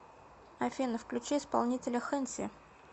афина включи исполнителя хэнси